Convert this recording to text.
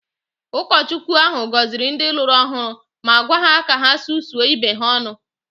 Ụkọchukwu ahụ gọziri ndị lụrụ ọhụrụ ma gwa ha ka ha susuo ibe ha ọnụ